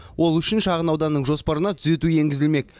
ол үшін шағын ауданның жоспарына түзету енгізілмек